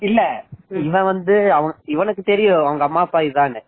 இல்ல இவன் வந்து இவனுக்கு தெரியும் இவங்க அம்மா அப்பா இது தான்னூ